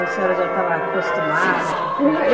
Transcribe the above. Ou a senhora já estava acostumada com?